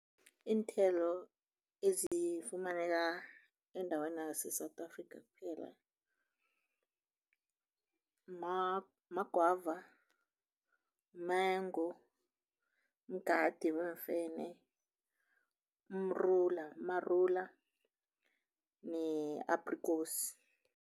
Iinthelo ezifumaneka eendaweni ze-South Africa, kuphela magwava, mengo, mgade wemfene, umrula marula ne-aprikosi.